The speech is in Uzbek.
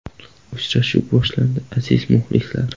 Uchrashuv boshlandi, aziz muxlislar!